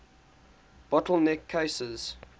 bottle neck cases